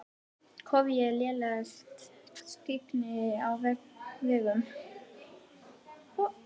Kóf og lélegt skyggni á vegum